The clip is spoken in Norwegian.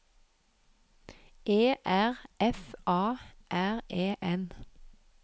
E R F A R E N